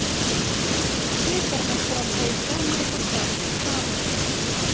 Bikarmeistarar Hauka mæta Fram í Safamýri